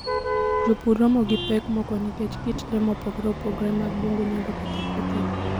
Jopur romo gi pek moko nikech kit le mopogore opogore mag bungu nyalo ketho puothegi.